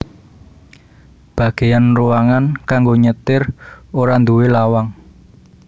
Bagéyan ruangan kanggo nyetir ora nduwé lawang